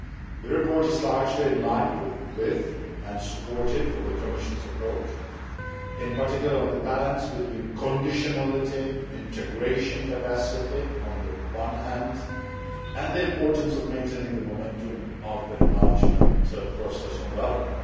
The report is largely in line with and supportive of the Commission's approach, in particular on the balance between conditionality integration capacity, on the one hand, and maintaining the momentum of the enlargement process, on the other.